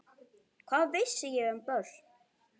Hvað vissi ég um börn?